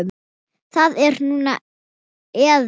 Það er núna eða ekki.